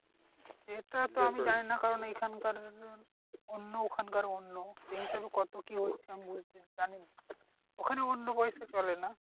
এটা তো আমি জানিনা কারণ এখানকার অন্য ওখানকার অন্য সেই হিসেবে কত কি হচ্ছে? আমি বুঝতে জানিনা। ওখানে অন্য পয়সা চলে না?